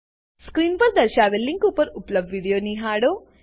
screen પર દર્શાવેલ link પર ઉપલબ્ધ વિડીયો નિહાળો